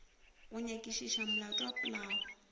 go nyakišiša molato wa polao